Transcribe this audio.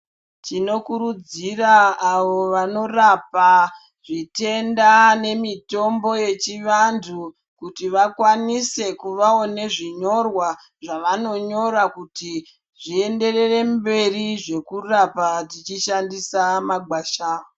Tinokurudzira avo vanorapa, zvitenda nemitombo yechivantu ,kuti vakwanise kuvawo nezvinyorwa, zvavanonyora kuti zvienderere mberi zvokurapa, tichishandisa magwasha.